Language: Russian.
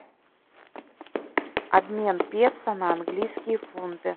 обмен песо на английские фунты